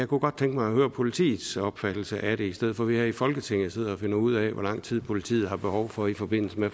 kunne godt tænke mig at høre politiets opfattelse af det i stedet for at vi her i folketinget sidder og finder ud af hvor lang tid politiet har behov for i forbindelse med